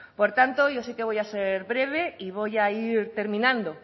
por tanto yo sí que voy a ser breve y voy a ir terminando